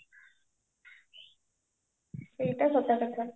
ସେଇଟା ସତ କଥା